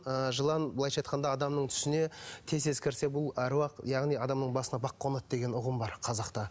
ы жылан былайша айтқанда адамның түсіне тез тез кірсе бұл аруақ яғни адамның басына бақ қонады деген ұғым бар қазақта